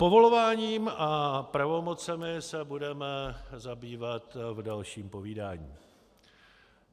Povoláním a pravomocemi se budeme zabývat v dalším povídání.